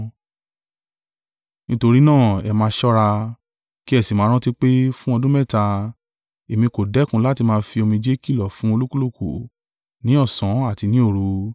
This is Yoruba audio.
Nítorí náà ẹ máa ṣọ́ra, ki ẹ sì máa rántí pé, fún ọdún mẹ́ta, èmi kò dẹ́kun láti máa fi omijé kìlọ̀ fún olúkúlùkù ní ọ̀sán àti ní òru.